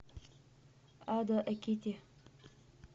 адо экити